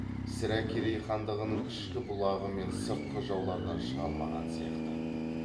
сірә керей хандығының ішкі бұлғағы мен сыртқы жаулардан шыға алмаған сияқты